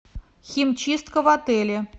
химчистка в отеле